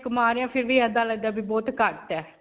ਕਮਾ ਰਹੇ ਹੈ ਫਿਰ ਵੀ ਐਦਾਂ ਲਗਦਾ ਹੈ ਵੀ ਬਹੁਤ ਘੱਟ ਹੈ.